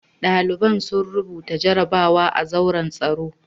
Ɗalibai sun rubuta jarabawa a zauren taro.